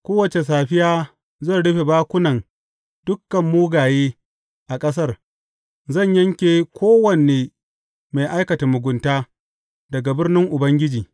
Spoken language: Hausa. Kowace safiya zan rufe bakunan dukan mugaye a ƙasar; zan yanke kowane mai aikata mugunta daga birnin Ubangiji.